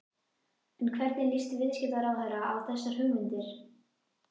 En hvernig líst viðskiptaráðherra á þessar hugmyndir?